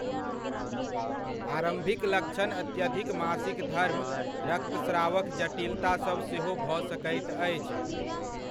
आरम्भिक लक्षण अत्यधिक मासिक धर्म रक्तस्रावक जटिलता सभ सेहो भऽ सकैत अछि।